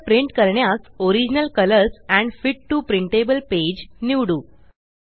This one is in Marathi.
चित्र प्रिंट करण्यास original colours and fit to printable page निवडू